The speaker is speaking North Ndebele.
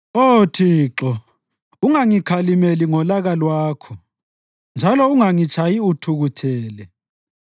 Oh Thixo ungangikhalimeli ngolaka lwakho njalo ungangitshayi uthukuthele.